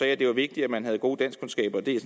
at det var vigtigt at man havde gode danskkundskaber det er